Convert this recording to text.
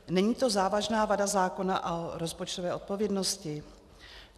Není to závažná vada zákona a rozpočtové odpovědnosti?